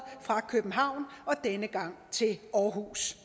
fra københavn og denne gang til aarhus